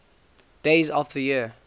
days of the year